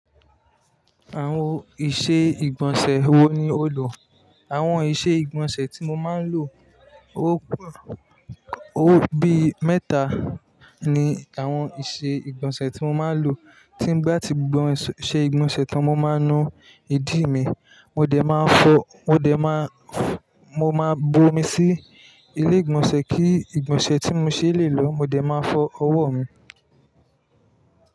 Àwon ìṣe ìgbọ̀nsẹ̀ wo ni o lò? Àwon ìṣe ìgbọ̀nsẹ̀ tí mo máa ń lò, ó bí mẹ́ta ni àwọn ìṣe ìgbọ̀nsẹ̀ tí mo máa ń lò. Tí n bá ti sẹ̀ ìgbọ̀nsẹ̀ tón, mo máa ń nu ìdí mi. Mo dẹ̀ máa fọ, mo máa bomi sí ilé ìgbọ̀nsẹ̀ kí ìgbọ̀nsẹ̀ tí mo ṣe lè lò. Mo dẹ̀ máa fọ ọwọ́ mi.